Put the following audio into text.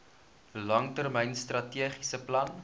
langtermyn strategiese plan